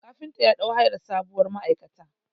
Kafinta ya ɗau hayar sabuwar ma'aikata.